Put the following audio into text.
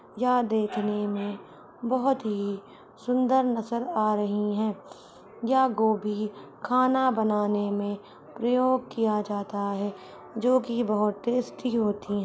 यह देखने में बहोत ही सुंदर नजर आ रही हैं। यह गोभी खाना बनाने मे प्रयोग किया जाता है जोकि बहोत टेस्टी होती हैं।